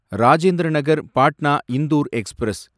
Rajendra Nagar Patna Indore express